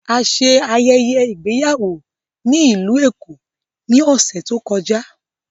A ṣe ayẹyẹ igbeyawo ni Ilu Eko ni ọsẹ to kọja